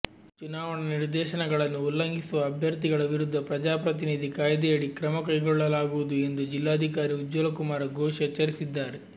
ಚುನಾವಣಾ ನಿರ್ದೇಶನಗಳನ್ನು ಉಲ್ಲಂಘಿಸುವ ಅಭ್ಯರ್ಥಿಗಳ ವಿರುದ್ಧ ಪ್ರಜಾಪ್ರತಿನಿಧಿ ಕಾಯ್ದೆಯಡಿ ಕ್ರಮಕೈಗೊಳ್ಳಲಾಗುವುದು ಎಂದು ಜಿಲ್ಲಾಧಿಕಾರಿ ಉಜ್ವಲಕುಮಾರ ಘೋಷ್ ಎಚ್ಚರಿಸಿದ್ದಾರೆ